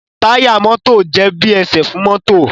Táyà mọ́tò jé bí esè fún mọ́tò.